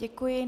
Děkuji.